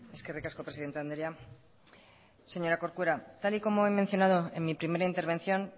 eskerrik asko presidente andrea señora corcuera tal y como he mencionado en mi primera intervención